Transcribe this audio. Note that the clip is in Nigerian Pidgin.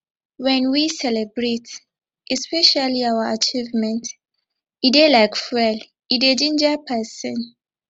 when we celebrate especially our achievement e dey like fuel e dey ginger person